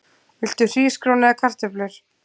Viltu hrísgrjón eða kartöflur?